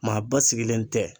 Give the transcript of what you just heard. Maa basigilen tɛ